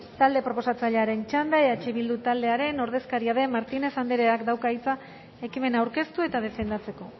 talde proposatzailearen txanda eh bildu taldearen ordezkaria den martinez andreak dauka hitza ekimena aurkeztu eta defendatzeko